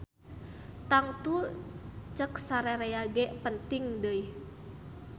Tangtu cek sarerea ge penting deuih.